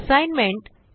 assignment